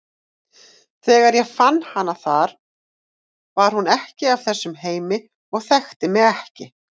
Þegar ég fann hana þar var hún ekki af þessum heimi og þekkti mig ekki.